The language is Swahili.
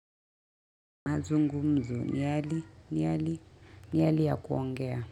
Mazungumzo ni hali ni hali ni hali ya kuongea.